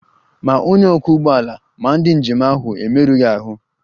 Ma onye ọkwọ ụgbọala ma ndị njem ahụ emerụghị ahụ